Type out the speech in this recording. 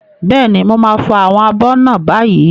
Bẹ́ẹ̀ni, mo máa fọ àwọn abọ́ náà báyìí.